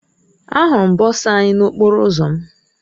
Ahụrụ m bọsa anyị n'okporo ụzọ m.